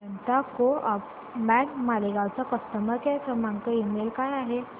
जनता co op bank Malegaon चा customer care email काय आहे